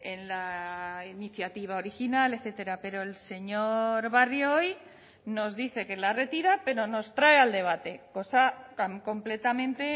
en la iniciativa original etcétera pero el señor barrio hoy nos dice que la retira pero nos trae al debate cosa tan completamente